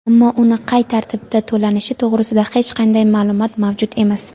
ammo uni qay tartibda to‘lanishi to‘g‘risida hech qanday ma’lumot mavjud emas.